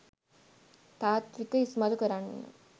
තාත්විකව ඉස්මතු කරන්න.